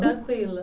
Tranquila.